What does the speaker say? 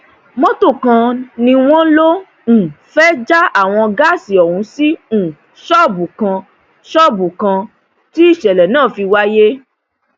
mọtò kan ni wọn lọọ um fẹẹ já àwọn gáàsì ọhún sí um ṣọọbù kan ṣọọbù kan tí ìṣẹlẹ náà fi wáyé